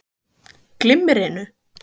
Hafsteinn Hauksson: Glimmerinu?